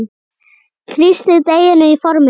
Þrýstið deiginu í formið.